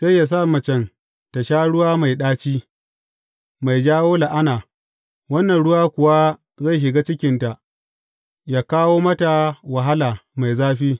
Sai yă sa macen tă sha ruwa mai ɗaci, mai jawo la’ana, wannan ruwa kuwa zai shiga cikinta yă kawo mata wahala mai zafi.